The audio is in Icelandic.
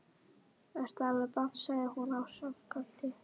Ertu alveg band sagði hún ásakandi.